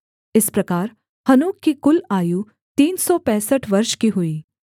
इस प्रकार हनोक की कुल आयु तीन सौ पैंसठ वर्ष की हुई